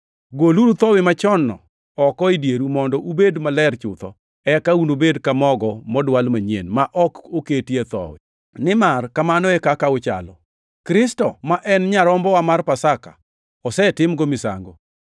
Goluru thowi machon-no oko e dieru mondo ubed maler chutho, eka unubed ka mogo modwal manyien ma ok oketie thowi, nimar kamano e kaka uchalo. Kristo, ma en nyarombowa mar Pasaka, osetimgo misango.